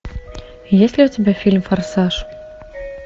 есть ли у тебя фильм форсаж